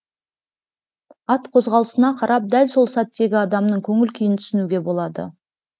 ат қозғалысына қарап дәл сол сәттегі адамның көңіл күйін түсінуге болады